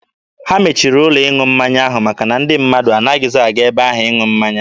Ha mechiri ụlọ ịṅụ mmanya ahụ maka na ndị mmadụ anaghịzi aga ebe ahụ ịṅụ mmanya.